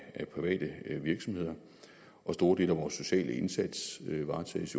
private virksomheder og store dele af vores sociale indsats varetages